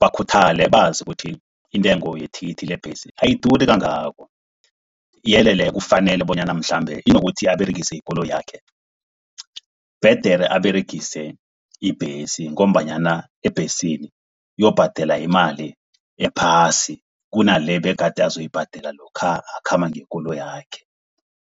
bakhuthale bazi ukuthi intengo yethikithi lebhesi ayiduri kangako. Yeke-ke kufanele bonyana mhlambe kunokuthi aberegise ikoloyakhe, bhedere aberegise ibhesi ngombanyana ebhesini uyokubhadela imali ephasi kunale begade azoyibhadela lokha akhamba ngekoloyakhe.